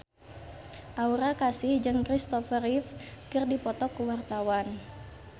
Aura Kasih jeung Kristopher Reeve keur dipoto ku wartawan